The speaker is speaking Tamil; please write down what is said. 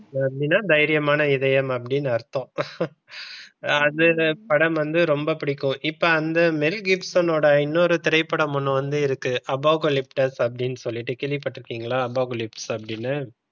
அப்படின்னா தைரியமான இதயம் அப்படின்னு அர்த்தம் அது படம் வந்து ரொம்ப பிடிக்கும் இப்ப அந்த மெல் கிப்சன்னோட இன்னொரு திரைப்படம் ஒன்னு வந்து இருக்கு அபோகலிப்டோ அப்படின்னு சொல்லிட்டு கேள்வி பட்டு இருக்கீங்களா? அபோகலிப்டோ அப்படின்னு,